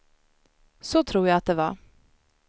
Så tror jag att det var.